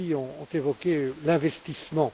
Kelly, ont évoqué l'investissement.